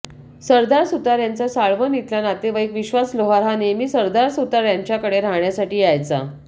सरदार सुतार यांचा साळवन इथला नातेवाईक विश्वास लोहार हा नेहमी सरदार सुतार यांच्याकडे राहण्यासाठी यायचा